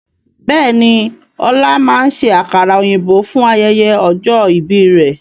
Bẹ́ẹ̀ni, ọlá máa ṣe àkàrà òyìnbó fún ayẹyẹ ọjọ́ ìbí rẹ̀